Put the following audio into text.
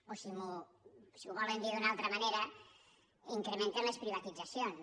o si ho volen dir d’una altra manera incrementen les privatitzacions